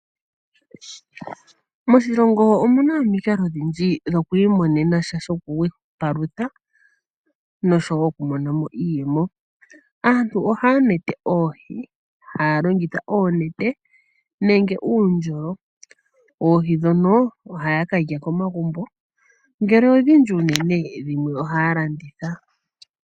Moshilongo omu na omikalo odhindji dhoku imonena iipalutha osho wo iiyemo. Aantu ohaya nete oohi , ha ya longitha oonete nenge uundjolo. Oohi ndhono aantu ohaya ka lya komagumbo, ngele odhindji unene, ohaya landitha.